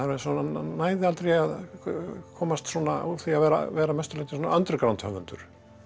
næði aldrei að komast úr því að vera að vera að mestu leyti underground höfundur